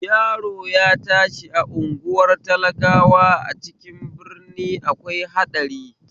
Yaro ya tashi a unguwar talakawa a cikin birni akwai haɗari